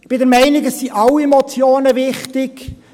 Ich bin der Meinung, alle Motionen seien wichtig.